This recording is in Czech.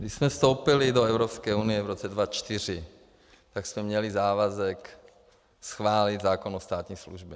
Když jsme vstoupili do Evropské unie v roce 2004, tak jsme měli závazek schválit zákon o státní službě.